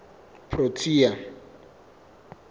protea